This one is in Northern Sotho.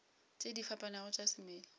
tše di fapanego tša semela